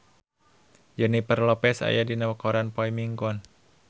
Jennifer Lopez aya dina koran poe Minggon